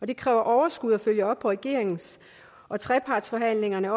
det kræver overskud at følge op på regeringens og trepartsforhandlingernes